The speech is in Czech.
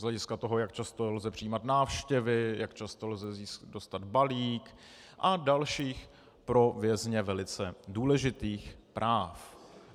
Z hlediska toho, jak často lze přijímat návštěvy, jak často lze dostat balík, a dalších pro vězně velice důležitých práv.